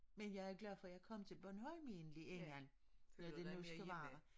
Men jeg er glad for jeg kom til Bornholm egentlig egentlig når det nu skal være